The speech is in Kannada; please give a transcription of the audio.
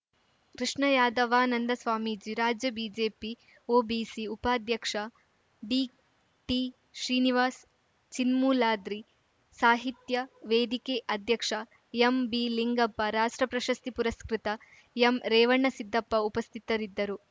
ಕೃಷ್ಣಯಾದವಾನಂದ ಸ್ವಾಮೀಜಿ ರಾಜ್ಯ ಬಿಜೆಪಿ ಒಬಿಸಿ ಉಪಾಧ್ಯಕ್ಷ ಡಿಟಿಶ್ರೀನಿವಾಸ್‌ ಚಿನ್ಮೂಲಾದ್ರಿ ಸಾಹಿತ್ಯ ವೇದಿಕೆ ಅಧ್ಯಕ್ಷ ಎಂಬಿ ಲಿಂಗಪ್ಪ ರಾಷ್ಟ್ರ ಪ್ರಶಸ್ತಿ ಪುರಸ್ಕೃತ ಎಂ ರೇವಣಸಿದ್ದಪ್ಪ ಉಪಸ್ಥಿತರಿದ್ದರು